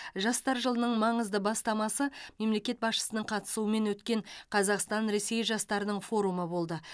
жастар жылының маңызды бастамасы мемлекет басшысының қатысуымен өткен қазақстан ресей жастарының форумы болды